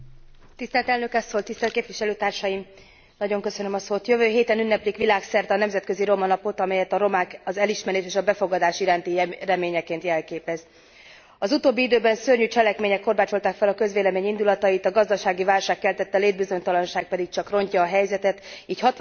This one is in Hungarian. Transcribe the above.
Jövő héten ünneplik világszerte a nemzetközi romanapot, amely a romák elismerés és befogadás iránti reményét jelképezi. Az utóbbi időben szörnyű cselekmények korbácsolták fel a közvélemény indulatait, a gazdasági válság keltette létbizonytalanság pedig csak rontja a helyzetet, így hatványozott a felelősségünk abban, hogy megoldást találjunk a mélyszegénység problémáira.